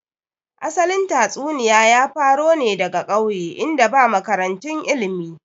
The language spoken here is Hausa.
Asalin tatsuniya ya faro ne daga ƙauye in da ba makarantu ilmi